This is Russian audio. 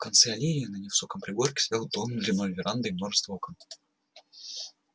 в конце аллеи на невысоком пригорке стоял дом с длинной верандой и множеством окон